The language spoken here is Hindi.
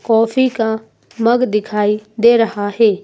कॉफी का मग दिखाई दे रहा है।